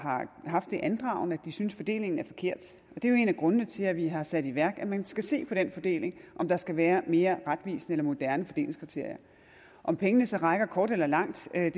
haft det andragende at de synes at fordelingen er forkert og det er jo en af grundene til at vi har sat i værk at man skal se på den fordeling se om der skal være mere retvisende eller moderne fordelingskriterier om pengene så rækker kort eller langt skal